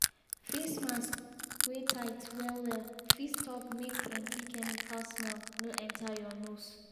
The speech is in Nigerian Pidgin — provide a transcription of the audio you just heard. face mask wey tight well well fit stop make plenty chemical smell no enter your nose.